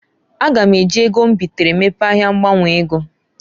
A ga m eji ego m bitere mepee ahia ngbanwe ego.